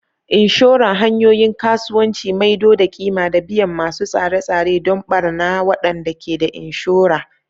Assurance: Hanyoyin Kasuwanci Maido da ƙima da biyan masu tsare-tsare don ɓarna waɗanda ke da inshora.